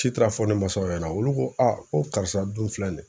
Ci taara fɔ ne masaw ɲɛna olu ko ko karisa dun filɛ nin ye